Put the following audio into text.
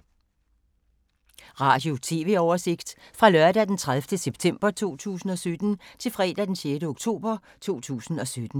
Radio/TV oversigt fra lørdag d. 30. september 2017 til fredag d. 6. oktober 2017